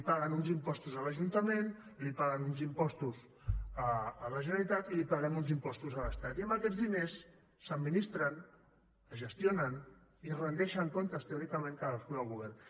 paguen uns impostos a l’ajuntament paguen uns impostos a la generalitat i paguem uns impostos a l’estat i amb aquests diners s’administren es gestionen i es rendeixen comptes teòricament cadascun dels governs